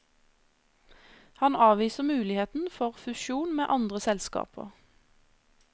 Han avviser muligheten for fusjon med andre selskaper.